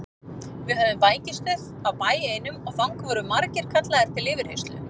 Við höfðum bækistöð á bæ einum og þangað voru margir kallaðir til yfirheyrslu.